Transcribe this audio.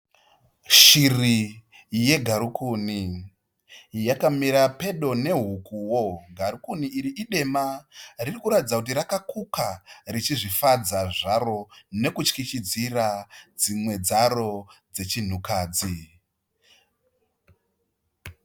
Shiri yegarikuni yakamira pedo nehukuwo. Garukuni iri idema ririkuratidza kuti rakakuka richizvifadza zvaro nekutyityidzira dzimwe dzaro dzechinhukadzi.